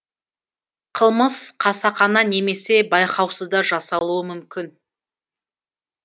қылмыс қасақана немесе байқаусызда жасалуы мүмкін